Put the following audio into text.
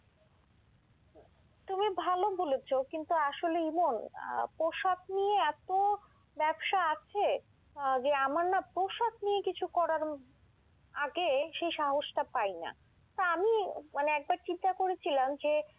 তুমি ভালো বলেছ কিন্তু আসলেই ইমন আহ পোশাক নিয়ে এত ব্যবসা আছে, আহ যে আমার না পোশাক নিয়ে কিছু করার আগে সেই সাহসটা পাই না। তা আমি মানে একটা চিন্তা করেছিলাম যে,